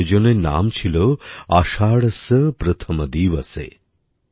এই আয়োজনের নাম ছিল আষাঢ়স্য প্রথম দিবসে